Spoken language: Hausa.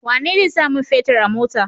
Wane zai sa mun fetir a mota?